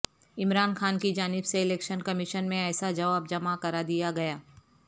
عمران خان کی جانب سے الیکشن کمیشن میں ایسا جواب جمع کرادیا گیا